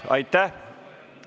Aitäh!